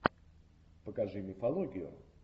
покажи мифологию